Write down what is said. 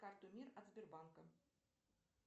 карту мир от сбербанка